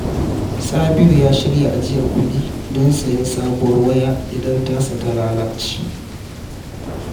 Sabiru ya shirya ajiyar kuɗi don sayen sabuwar waya idan tasa ta lalace.